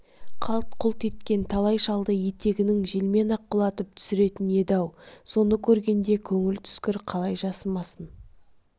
қалт-құлт еткен талай шалды етегінің желмен-ақ құлатып түсретін еді-ау соны көргенде көңіл түскір қалай жасымасын